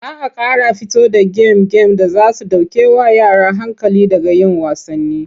Za a ƙara fito da gem-gem da za su ɗaukewa yara hankali daga yin wasanni.